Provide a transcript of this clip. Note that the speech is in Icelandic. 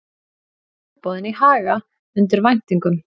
Tilboðin í Haga undir væntingum